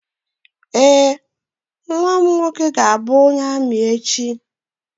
Ee, nnwa m nwoke ga-abụ onye amị echi.